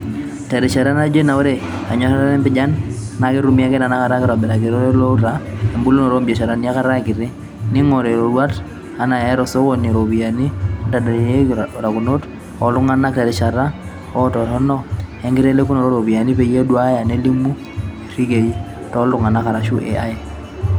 Terishata naaijo ena, ore enyoraroto we mpijan naaketumi ake tenaa keitobiri irekei loouta ebulunoto obiasharani enkata kiti, neingori iroruat e AI to sokoni looropiyani, neitadedeyieki utarot oltunganak terishata e utaroto enkitelekino ooropiyani peyie eduaya neilimu irekei (too iltunganak arashu AI)